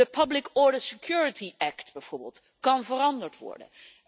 De public order security act bijvoorbeeld kan veranderd worden.